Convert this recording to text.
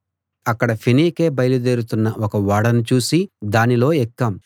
అక్కడ ఫేనీకే బయలుదేరుతున్న ఒక ఓడను చూసి దానిలో ఎక్కాం